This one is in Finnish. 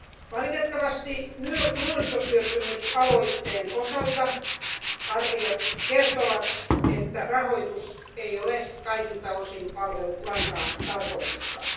Valitettavasti nuorisotyöttömyysaloitteen osalta arviot kertovat, että rahoitus ei ole kaikilta osin palvellut lainkaan tarkoitustaan.